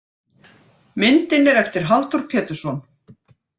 Myndin er eftir Halldór Pétursson.